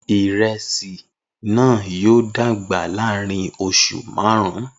Iresi naa yoo dagba laarin oṣu marun